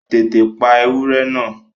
Tètè pa ewúrẹ́ náà!